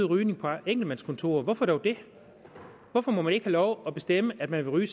rygning på enkeltmandskontorer hvorfor dog det hvorfor må man ikke lov at bestemme at man vil ryge